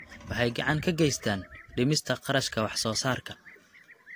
Waxay gacan ka geystaan ??dhimista kharashka wax soo saarka.